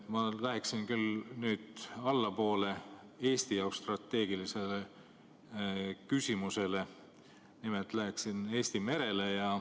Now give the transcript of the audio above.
Ma liiguksin küll nüüd allapoole, Eesti jaoks strateegilise küsimuse juurde, mis puudutab Eesti merd.